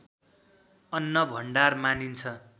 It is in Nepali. अन्नभण्डार मानिन्छ